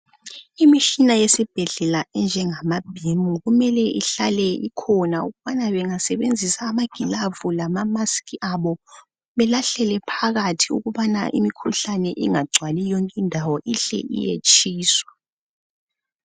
Imitshina yesibhedlela enjengama bhimu . Kumele ihlale ikhona ukubana .Bengasebenzisa amagilavu lamamask abo .Belahlele phakathi ukubana imkhuhlane ingagcwali yonke indawo ihle iyetshiswa .